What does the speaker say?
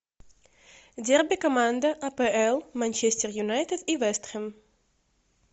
дерби команда апл манчестер юнайтед и вест хэм